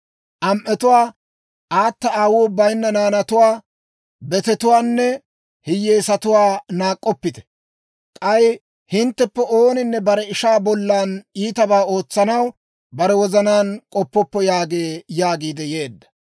Am"etuwaa, aata aawuu bayinna naanatuwaa, betetuwaanne hiyyeesatuwaa naak'k'oppite. K'ay hintteppe ooninne bare ishaa bollan iitabaa ootsanaw bare wozanaan k'oppoppo› yaageedda» yaagiid yeedda.